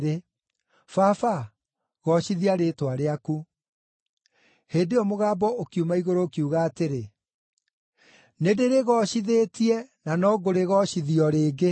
Baba, goocithia rĩĩtwa rĩaku!” Hĩndĩ ĩyo mũgambo ũkiuma igũrũ ũkiuga atĩrĩ, “Nĩndĩrĩgoocithĩtie na no ngũrĩgoocithia o rĩngĩ.”